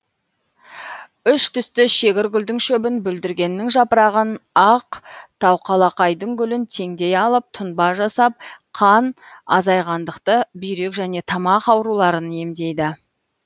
үш түсті шегір гүлдің шөбін бүлдіргеннің жапырағын ақ тауқалақайдың гүлін теңдей алып тұнба жасап қан азайғандықты бүйрек және тамақ ауруларын емдейді